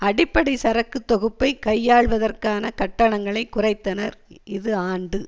அடிப்படை சரக்கு தொகுப்பை கையாள்வதற்கான கட்டணங்களைக் குறைத்தனர் இது ஆண்டு